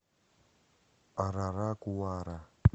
араракуара